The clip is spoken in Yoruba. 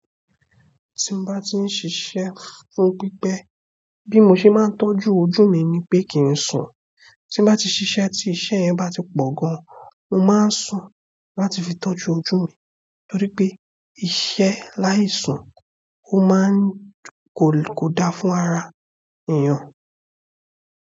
Tí n bá ti ń ṣisé fún pípẹ́, bí mo ṣe máa ń tọ́jú ojú mi ni pé kí n sùn. Tí mo bá ti ṣiṣẹ́ tí iṣẹ́ yẹn bá ti po gan, mo máa ń sùn láti fi tọ́jú ojú mi nítorí pé iṣẹ́ láì sùn ó máa ń ko, kò da fún ara èèyàn.